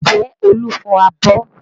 Ǹjẹ́ Olu fọ abọ́?